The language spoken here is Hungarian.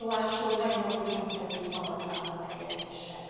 Tóásó a mai napig nem került szabadlábra helyezésre.